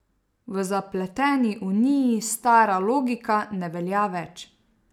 V zapleteni Uniji stara logika ne velja več.